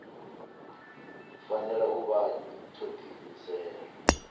fanela u vha tsho diimisela